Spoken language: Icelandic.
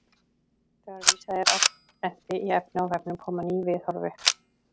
Þegar vísað er á prenti í efni á vefnum koma ný viðhorf upp.